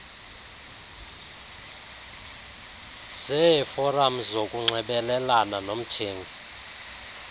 zeeforam zokunxibelelana nomthengi